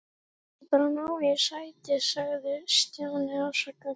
Ég vildi bara ná í sæti sagði Stjáni afsakandi.